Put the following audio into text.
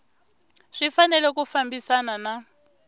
swi fanele ku fambisana na